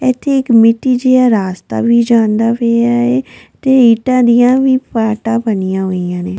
ਇੱਥੇ ਇੱਕ ਮਿੱਟੀ ਜਿਹਾ ਰਾਸਤਾ ਵੀ ਜਾਂਦਾ ਪਿਆ ਏ ਤੇ ਇੱਟਾਂ ਦੀਆਂ ਵੀ ਪਾਰਟਾਂ ਬਣੀਆਂ ਹੋਈਆਂ ਨੇ।